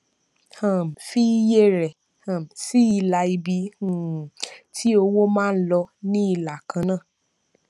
um fi iye rẹ um sí ilà ibi um tí owó máa ń lọ ní ìlà kan náà